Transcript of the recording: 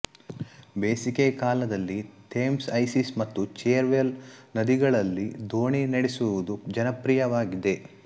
ಬೇಸಿಗೆಕಾಲದಲ್ಲಿ Thames Isis ಮತ್ತು Cherwell ನದಿಗಳಲ್ಲಿ ದೋಣಿ ನಡೆಸುವುದು ಜನಪ್ರಿಯವಾಗಿದೆ